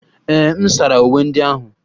Ee, m sara uwe ndị ahụ.